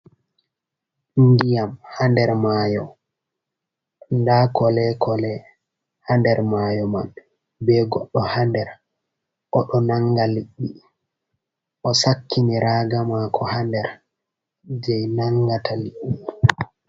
Ndiyam, ha'nder mayo da kolee kolee ha nder mayo man. be goddo ha nder odo nanga liɗɗi o sakkini raaga mako ha nder jei nangata liɗɗi.